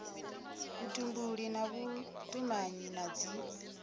vhutumbuli na vhutumanyi na dzi